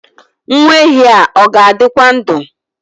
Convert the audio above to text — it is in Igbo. Nwa ehi a ọ ga-adịkwa ndụ?